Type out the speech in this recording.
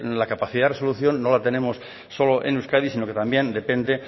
la capacidad de resolución no la tenemos solo en euskadi sino que también depende